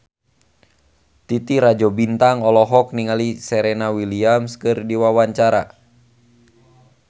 Titi Rajo Bintang olohok ningali Serena Williams keur diwawancara